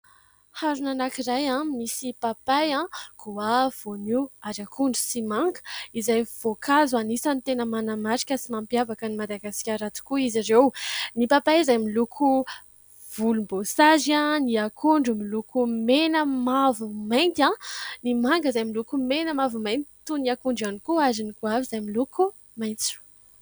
Harona anankiray misy papay, goavy, voanio, ary akondro sy manga, izay voankazo anisany tena manamarika sy mampiavaka an'i Madagasikara tokoa izy ireo. Ny papay izay miloko volomboasary ; ny akondro miloko mena, mavo, mainty ; ny manga izay miloko mena, mavo, mainty, toy ny akondro ihany koa ; ary ny goavy izay miloko maitso.